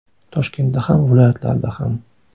Toshkentda ham, viloyatlarda ham.